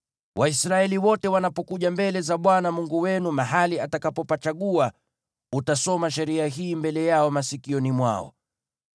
Waisraeli wote wanapokuja mbele za Bwana Mungu wenu mahali atakapopachagua, utasoma sheria hii mbele yao masikioni mwao.